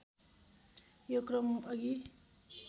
यो क्रम अघि